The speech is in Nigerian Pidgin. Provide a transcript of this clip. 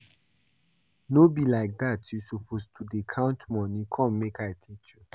No be like dat you suppose to dey count money, come make I teach you